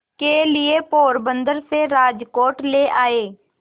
के लिए पोरबंदर से राजकोट ले आए